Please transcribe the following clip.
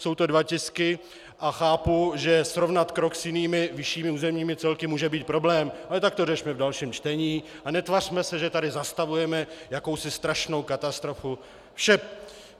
Jsou to dva tisky a chápu, že srovnat krok s jinými vyššími územními celky může být problém, ale tak to řešme v dalším čtení a netvařme se, že tady zastavujeme jakousi strašnou katastrofu.